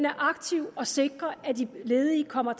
aktiv og sikrer at de ledige kommer